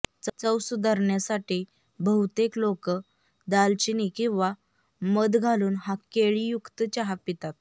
चव सुधारण्यासाठी बहुतेक लोक दालचिनी किंवा मध घालून हा केळीयुक्त चहा पितात